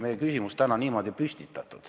Kolm minutit lisaaega, palun!